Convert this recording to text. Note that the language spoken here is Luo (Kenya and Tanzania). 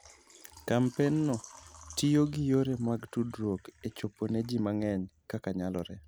Kampenno tiyo gi yore mag tudruok e chopo ne ji mang'eny kaka nyalore.